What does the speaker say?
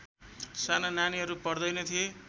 साना नानीहरू पढ्दैनथे